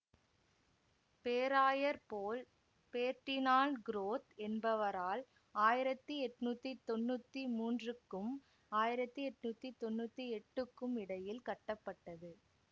பேராயர் Paul Ferdinand Groth என்பவரால் ஆயிரத்தி எட்ணூத்தி தொன்னூத்தி மூன்றுக்கும் ஆயிரத்தி எட்ணூத்தி தொன்னூத்தி எட்டுக்கும் இடையில் கட்டப்பட்டது